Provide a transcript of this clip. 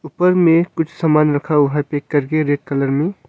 ऊपर में कुछ सामान रखा हुआ है पैक करके रेड कलर में।